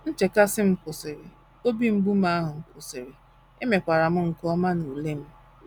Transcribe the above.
Nchekasị m kwụsịrị, obi mgbu ahụ kwụsịrị, emekwara m nke ọma n’ule m. ”